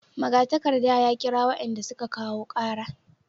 Magatakarda ya kira wayanda suka kawo kara